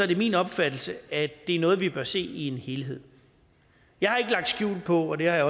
det min opfattelse at det er noget vi bør se i en helhed jeg har ikke lagt skjul på at jeg